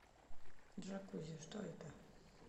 джакузи что это